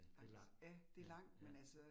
Langs. Ja, det langt, men altså